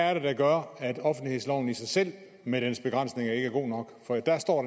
er det der gør at offentlighedsloven i sig selv med dens begrænsninger ikke er god nok for dér står